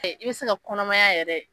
i bɛ se ka kɔnɔmaya yɛrɛ